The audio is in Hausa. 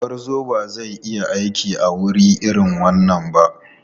Gurguzu ba zai yi aiki a wuri irin wannan ba.